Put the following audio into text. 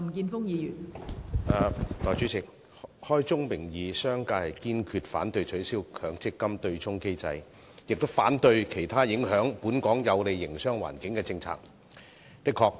代理主席，開宗明義，商界堅決反對取消強制性公積金對沖機制，亦反對其他影響本港有利營商環境的政策。